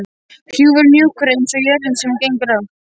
Hrjúfur og mjúkur einsog jörðin sem hún gengur á.